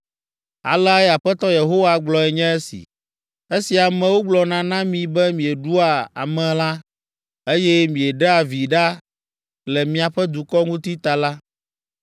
“Aleae Aƒetɔ Yehowa gblɔe nye esi, ‘Esi amewo gblɔna na mi be mieɖua amelã, eye mieɖea vi ɖa le miaƒe dukɔ ŋuti ta la,